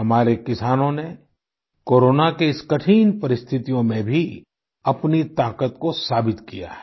हमारे किसानों ने कोरोना की इस कठिन परिस्थितियों में भी अपनी ताकत को साबित किया है